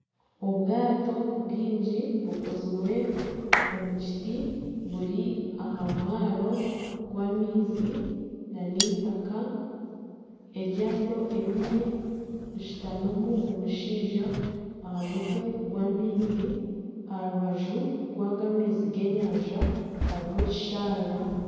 Obwaato bwingi bukozirwe omu kiti buri aha mwaaro gw'amaizi na n'eitaaka, eryato erimwe rishutamimu omushaija aha mutwe gw'amaizi aha rubaju rwaga amaizi g'enyanja hariho ekisharara.